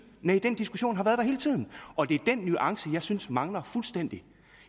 næh den diskussion har været der hele tiden og det er den nuance som jeg synes mangler fuldstændig